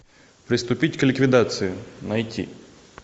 приступить к ликвидации найти